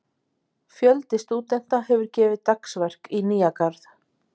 Fjöldi stúdenta hefur gefið dagsverk í Nýja-Garð.